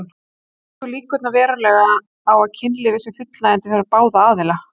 Það eykur líkurnar verulega á að kynlífið sé fullnægjandi fyrir báða aðila.